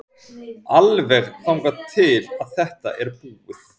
Alveg þangað til að þetta er búið.